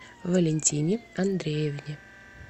валентине андреевне